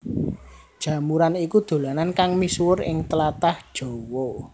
Jamuran iku dolanan kang misuwur ing tlatah Jawa